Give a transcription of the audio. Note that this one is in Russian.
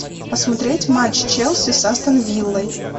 посмотреть матч челси с астон виллой